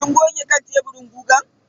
Kin goge kan teburin gugan?